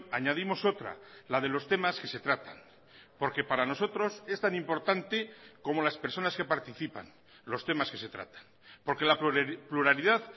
añadimos otra la de los temas que se tratan porque para nosotros es tan importante como las personas que participan los temas que se tratan porque la pluralidad